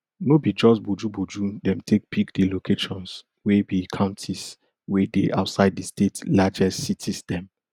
no be just bojuboju dem take pick di locations wey be counties wey dey outside di state largest cities dem